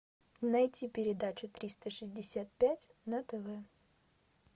найти передачу триста шестьдесят пять на тв